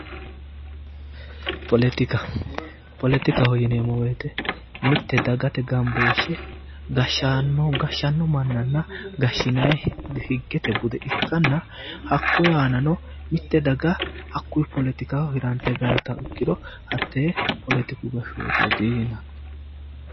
Poletika poletikaho yineemmo woyite mitte dagate gambooshe gashaano gashanno mannanna gashinayi higgete bude ikkanna hakkuyi aanano mitte daga hakkuyi politikaho hirante galtawo ikkiro hattee poletiku gashooteeti yinanni